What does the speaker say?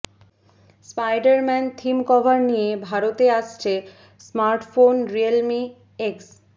Spiderman theme cover নিয়ে ভারতে আসছে স্মার্টফোন রিয়েলমি এক্স